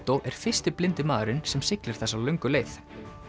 er fyrsti blindi maðurinn sem siglir þessa löngu leið